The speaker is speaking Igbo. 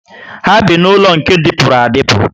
Ha bi n'ulo nke dipuru adipu